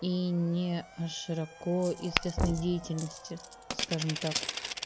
и не о широко известной деятельности скажем так